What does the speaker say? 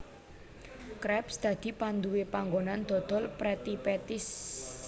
Krabs dadi panduwé panggonan dodol Pretty Patties